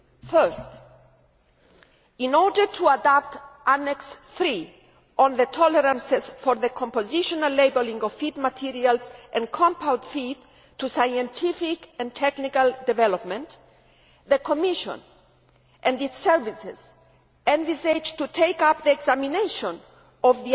First, in order to adapt Annex III on the tolerances for the compositional labelling of feed materials and compound feed to scientific and technical development, the Commission and its services envisage taking up examination